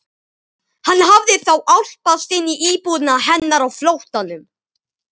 Hann hafði þá álpast inn í íbúðina hennar á flóttanum!